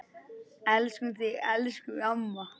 Elskum þig, elsku amma.